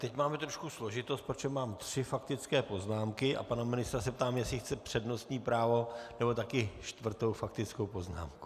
Teď máme trošku složitost, protože mám tři faktické poznámky, a pana ministra se ptám, jestli chce přednostní právo, nebo také čtvrtou faktickou poznámku.